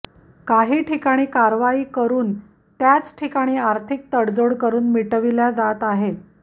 काही ठिकाणी कारवाई करून त्याचठिकाणी आर्थिक तडजोड करून मिटविल्या जात आहेत